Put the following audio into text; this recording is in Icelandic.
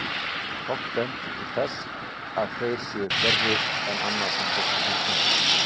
Fátt bendir til þess að þeir séu þar verri en annað sem fólki finnst skemmtilegt.